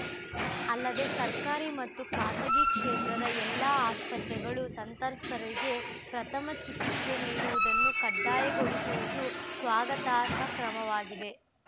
ಅಲ್ಲದೇ ಸರ್ಕಾರಿ ಮತ್ತು ಖಾಸಗಿ ಕ್ಷೇತ್ರದ ಎಲ್ಲಾ ಆಸ್ಪತ್ರೆಗಳು ಸಂತ್ರಸ್ತರಿಗೆ ಪ್ರಥಮ ಚಿಕಿತ್ಸೆ ನೀಡುವುದನ್ನು ಕಡ್ಡಾಯಗೊಳಿಸಿರುವುದು ಸ್ವಾಗತಾರ್ಹ ಕ್ರಮವಾಗಿದೆ